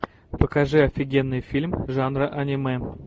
покажи офигенный фильм жанра аниме